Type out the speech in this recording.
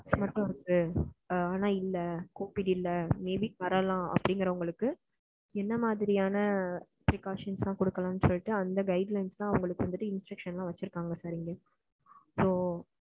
symptoms மட்டும் இருக்கு ஆனா covid இல்ல, maybe வரலாம் அப்படிங்குறவுங்களுக்கு என்ன மாதிரியான precasting எல்லாம் குடுக்கலாம் அந்த மாதிரி guidelines instruction எல்லாம் வச்சு இருப்பாங்க உள்ளேயே, so.